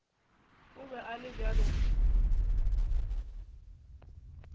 o be a le bjalo